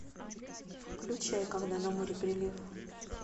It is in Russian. включай когда на море прилив